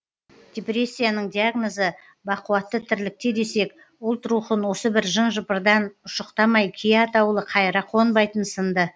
депрессияның диагнозы бақуатты тірлікте десек ұлт рухын осы бір жын жыпырдан ұшықтамай кие атаулы қайыра қонбайтын сынды